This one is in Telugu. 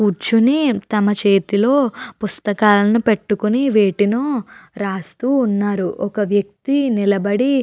కూర్చుని తమ చేతిలో పుస్తకాలు పెట్టుకుని వెటినో రాస్తూ ఉన్నారు. ఒక వ్యక్తి నిలబడి --